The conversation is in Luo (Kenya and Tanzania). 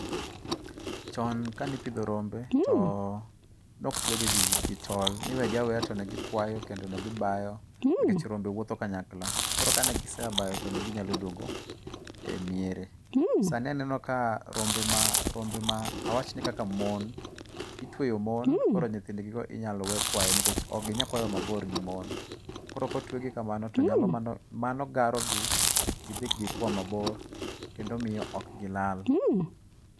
Chon kane ipidho rombe to ne ok twe gi gi tol. Ne iwegi aweya to negikwayo kendo negi bayo nikech rombe wuotho kanyakla. Koro kanegise a bayo to neginyalo duogo e miere. Sani aneno ka rombe ma awach ni kaka mon itweyo mon koro nyithing gi go inyalo we kwayo nikech ok ginya kwayo mabor gi mon. Koro kotwegi kamano to mano garo gi kik gidhi gikwa mabor kendo miyo ok gilal.